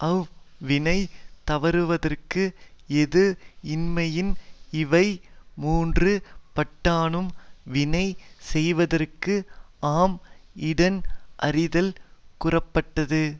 அவ் வினை தவறுவதற்கு ஏது இன்மையின் இவை மூன்று பாட்டானும் வினை செய்தற்கு ஆம் இடன் அறிதல் கூறப்பட்டது